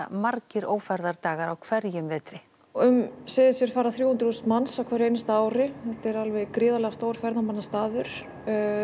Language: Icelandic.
margir ófærðardagar á hverjum vetri um Seyðisfjörð fara þrjú hundruð þúsund manns á hverju ári þetta er alveg gríðarlega stór ferðamannastaður